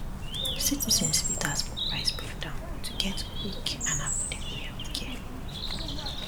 citizens fit ask for price breakdown to get quick and affordable healthcare